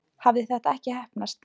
Hafði þetta ekki heppnast?